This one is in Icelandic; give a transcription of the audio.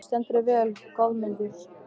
Þú stendur þig vel, Goðmundur!